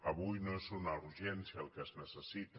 avui no és una urgèn·cia el que es necessita